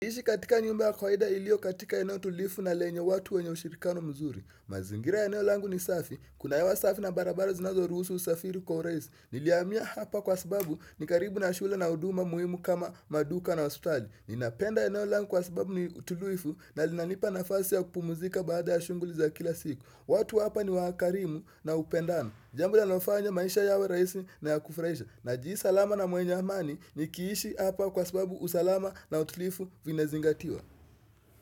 Ishi katika nyumba ya kwaida iliyo katika eneo tulifu na lenye watu wenye ushirikano mzuri. Mazingira eneo langu ni safi. Kuna hewa safi na barabara zinazoruhusu usafiri kwa urahisi. Nilihamia hapa kwa sababu ni karibu na shule na huduma muhimu kama maduka na hospitali. Ninapenda eneo langu kwa sababu ni tulivu na linanipa nafasi ya kupumuzika baada ya shughuli za kila siku. Watu hapa ni wakarimu na hupendana. Jambo linalofanya maisha yawe rahisi na ya kufurahisha. Najihisi salama na mwenye amani nikiishi hapa kwa sababu usalama na utlifu vina zingatiwa.